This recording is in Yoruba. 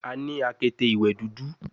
A ni akete iwẹ dudu